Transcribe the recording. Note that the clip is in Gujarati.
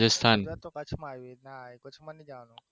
રાજસ્થાન